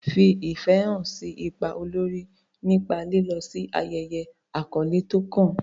Fi ìfẹ́ hàn sí ipa olórí nípa lílọ sí ayẹyẹ àkọ́lé tó kàn.